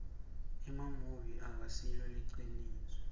emamuvi akasilo liciniso